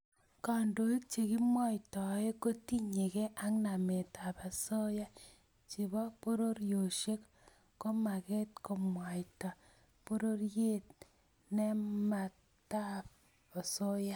Kandoik chekimwoitoe kotinyekei ak nametab osoya chebo pororiosiek komagat komwaita borietb nametab osoya